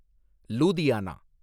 Ludhiana